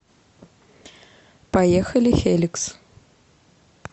поехали хеликс